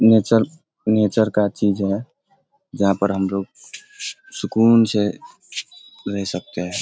Nature nature का चीज़ है जहाँ पर हमलोग सुकून से रह सकते हैं।